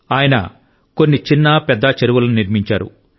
ఆయన కొన్ని పెద్ద చిన్న చెరువులను నిర్మించారు